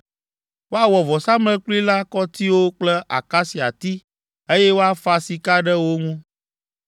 Woawɔ vɔsamlekpui la kɔtiwo kple akasiati, eye woafa sika ɖe wo ŋu.